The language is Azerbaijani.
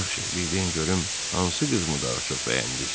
Yaxşı, bir deyin görüm hansı qızımı daha çox bəyəndiniz?